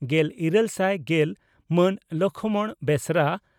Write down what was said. ᱾ᱜᱮᱞᱤᱨᱟᱹᱞ ᱥᱟᱭ ᱜᱮᱞ ᱹ ᱢᱟᱱ ᱞᱚᱠᱷᱢᱚᱬ ᱵᱮᱥᱨᱟ